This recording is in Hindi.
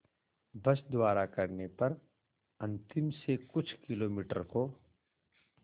बस द्वारा करने पर अंतिम से कुछ किलोमीटर को